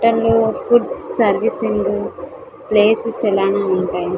Food సెర్వేసింగ్ గు place సెలన్ అని ఉంటాయి.